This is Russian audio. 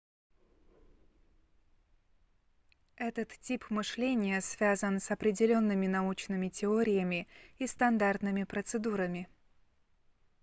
этот тип мышления связан с определенными научными теориями и стандартными процедурами